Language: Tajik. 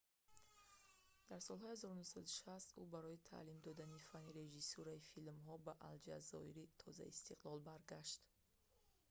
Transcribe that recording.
дар солҳои 1960 ӯ барои таълим додани фанни режисурраи филмҳо ба алҷазоири тозаистиқлол баргашт